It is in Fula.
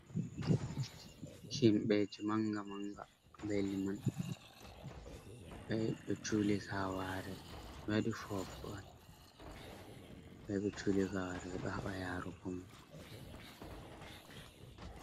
Himɓɓe ji manga manga be liman ɓeyahi ɓe juli gaware ɓewaɗi fofo on ɓe yahi ɓe juli gaware ɓeɗo haɓa yarugo mo.